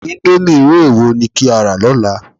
Íńdómì irú èwo ni kí á rà lọ́la?